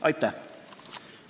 Aitäh!